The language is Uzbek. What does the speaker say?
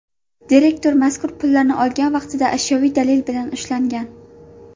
Direktor mazkur pullarni olgan vaqtida ashyoviy dalil bilan ushlangan.